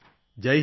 Jai Hind